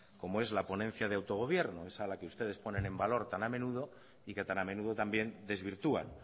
como es la ponencia de autogobierno esa a la que ustedes ponen en valor tan a menudo y que tan a menudo también desvirtúan